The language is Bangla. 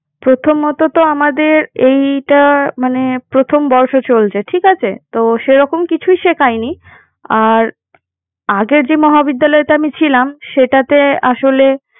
প্রথমত তো আমাদের এইটা মানে প্রথম বর্ষ চলছে। ঠিক আছে। তো সেরকম কিছুই শেখায়নি। আর আগের যে মহাবিদ্যালয়তে আমি ছিলাম। সেটাতে আসলে